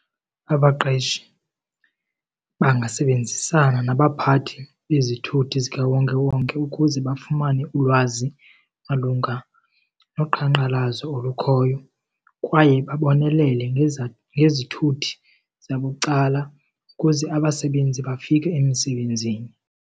Abaqeshi bangasebenzisana nabaphathi bezithuthi zikawonkewonke ukuze bafumane ulwazi malunga loqhankqalazo olukhoyo kwaye babonelele ngezithuthi zabucala ukuze abasebenzi bafike emisebenzini.